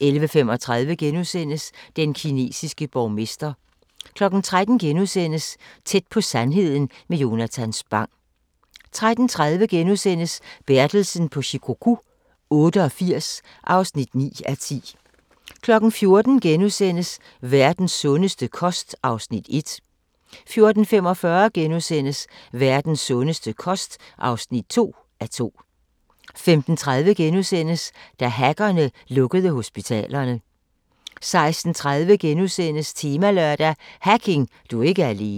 11:35: Den kinesiske borgmester * 13:00: Tæt på sandheden med Jonatan Spang * 13:30: Bertelsen på Shikoku 88 (9:10)* 14:00: Verdens sundeste kost (1:2)* 14:45: Verdens sundeste kost (2:2)* 15:30: Da hackerne lukkede hospitalerne * 16:30: Temalørdag: Hacking – du er ikke alene *